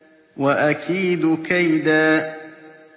وَأَكِيدُ كَيْدًا